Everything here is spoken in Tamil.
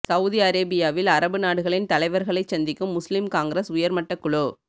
சவுதி அரேபியாவில் அரபு நாடுகளின் தலைவர்களைச் சந்திக்கும் முஸ்லிம் காங்கிரஸ் உயர் மட்டக் குழு